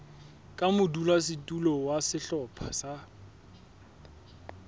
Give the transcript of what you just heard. ka modulasetulo wa sehlopha sa